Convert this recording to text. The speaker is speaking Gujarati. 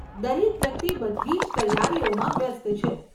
દરેક વ્યક્તિ બધી જ તૈયારીઓમાં વ્યસ્ત છે.